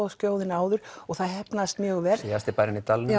Skilaboðaskjóðunni áður og það heppnaðist mjög vel síðasti bærinn í dalnum